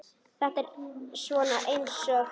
Þetta er svona eins og.